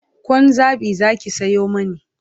Kwan zabi Zaki Sayo mani